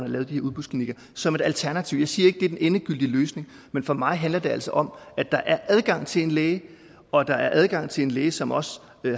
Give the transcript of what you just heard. lave de her udbudsklinikker som et alternativ jeg siger ikke er den endegyldige løsning men for mig handler det altså om at der er adgang til en læge og at der er adgang til en læge som også